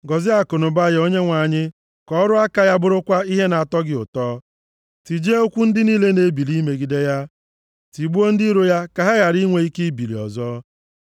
Gọzie akụnụba ya Onyenwe anyị, ka ọrụ aka ya bụrụkwa ihe na-atọ gị ụtọ. Tijie ụkwụ ndị niile na-ebili imegide ya, tigbuo ndị iro ya ka ha ghara inwe ike ibili ọzọ.”